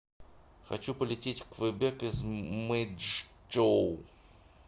хочу полететь в квебек из мэйчжоу